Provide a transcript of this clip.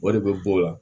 O de bɛ bɔ o la